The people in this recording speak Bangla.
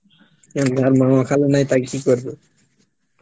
যার মামা খালু নাই নেই তাকে কি করবে?